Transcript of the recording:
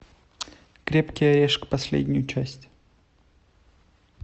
крепкий орешек последнюю часть